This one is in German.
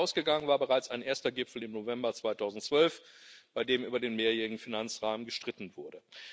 Dem vorausgegangen war bereits ein erster Gipfel im November 2012, bei dem über den mehrjährigen Finanzrahmen gestritten wurde.